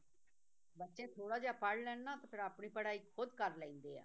ਬੱਚੇ ਥੋੜ੍ਹਾ ਜਿਹਾ ਪੜ੍ਹ ਲੈਣ ਨਾ ਤੇ ਫਿਰ ਆਪਣੀ ਪੜ੍ਹਾਈ ਖੁੱਦ ਕਰ ਲੈਂਦੇ ਆ